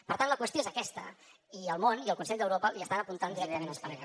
per tant la qüestió és aquesta i el món i el consell d’europa estan apuntant directament a espanya